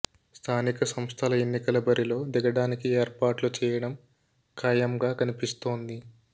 స్థానిక సంస్థల ఎన్నికల బరిలో దిగడానికి ఏర్పాట్లు చేయడం ఖాయంగా కనిపిస్తోంది